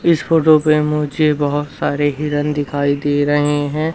इस फोटो पे मुझे बहुत सारे हिरन दिखाई दे रहे हैं।